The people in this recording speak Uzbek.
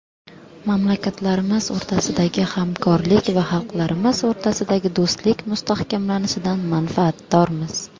Mamlakatlarimiz o‘rtasidagi hamkorlik va xalqlarimiz o‘rtasidagi do‘stlik mustahkamlanishidan manfaatdormiz”.